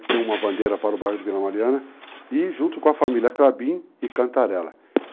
que tem uma bandeira para o bairro de Vila Mariana, e junto com a família Crabim e Cantarela.